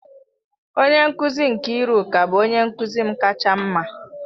Onye nkuzi Nkiruka bụ onye nkuzi m kacha mma.